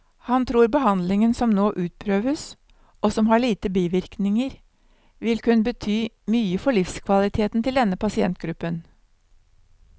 Han tror behandlingen som nå utprøves, og som har lite bivirkninger, vil kunne bety mye for livskvaliteten til denne pasientgruppen.